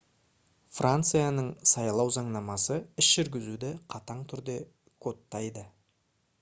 францияның сайлау заңнамасы іс жүргізуді қатаң түрде кодтайды